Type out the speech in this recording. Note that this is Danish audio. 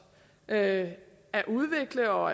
at at udvikle og